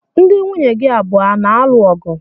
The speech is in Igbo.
Ndi nwunye gi abụọ a na-alụ ọgụ?